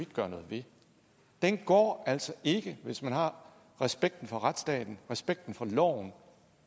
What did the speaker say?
gøre noget ved den går altså ikke hvis man har respekten for retsstaten respekten for loven